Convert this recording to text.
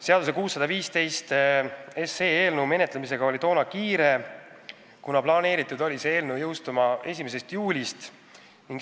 Seaduseelnõu 615 menetlemisega oli tookord kiire, kuna seadus oli plaanitud jõustuma 1. juulil.